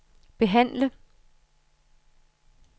behandle